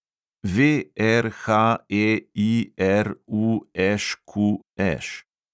VRHEIRUŠQŠ